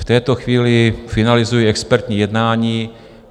V této chvíli finalizují expertní jednání.